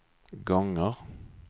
gånger